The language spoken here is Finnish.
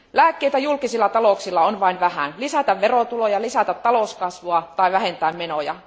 Lääkkeitä julkisilla talouksilla on vain vähän lisätä verotuloja, lisätä talouskasvua tai vähentää menoja.